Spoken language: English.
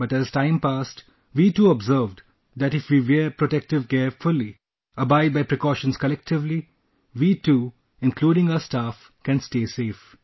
But as time passed, we too observed that if we wear protective gear fully, abide by precautions colllectively; we too, including our staff can stay safe